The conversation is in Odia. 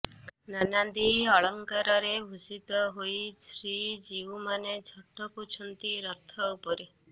ନାନାଦି ଅଳଙ୍କାରରେ ଭୂଷିତ ହୋଇ ଶ୍ରୀଜୀଉମାନେ ଝଟକୁଛନ୍ତି ରଥ ଉପରେ